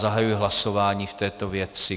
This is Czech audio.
Zahajuji hlasování v této věci.